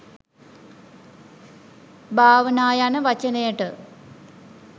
භාවනා යන වචනයට